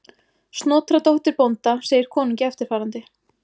Snotra dóttir bónda segir konungi eftirfarandi: